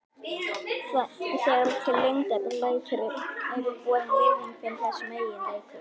Þegar til lengdar lætur er borin virðing fyrir þessum eiginleikum.